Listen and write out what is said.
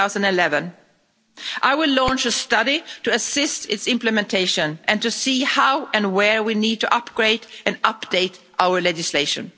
2011. I will launch a study to assist its implementation and to see how and where we need to upgrade and update our legislation.